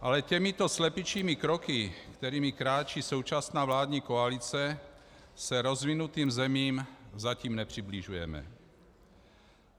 Ale těmito slepičími kroky, kterými kráčí současná vládní koalice, se rozvinutým zemím zatím nepřibližujeme.